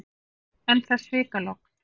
En það er svikalogn.